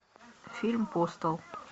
фильм постал